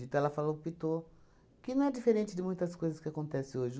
Então, ela falou optou que não é diferente de muitas coisas que acontecem hoje.